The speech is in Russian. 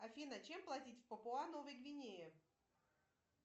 афина чем платить в папуа новой гвинеи